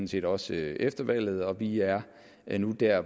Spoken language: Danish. set også efter valget vi er er nu der